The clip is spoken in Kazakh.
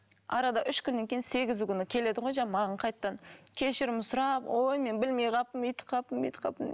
арада үш күннен кейін сегізі күні келеді ғой жаңағы маған қайтадан кешірім сұрап ой мен білмей қалыппын өйтіп қалыппын бүйтіп қалыппын